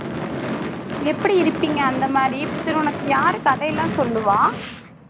எப்படி இருப்பீங்க அந்த மாதிரி சரி உனக்கு யாரு கதையெல்லாம் சொல்லுவா?